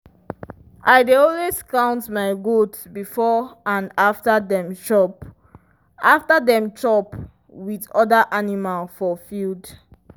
i dey always count my goat before and after dem chop after dem chop with other animal for field.